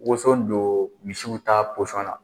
Waoso don misiw ta na